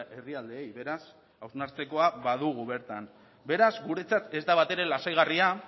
herrialdeei beraz hausnartzekoa badugu bertan beraz guretzat ez da batere lasaigarria